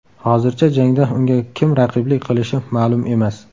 Hozircha jangda unga kim raqiblik qilishi ma’lum emas.